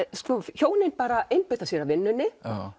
hjónin bara einbeita sér að vinnunni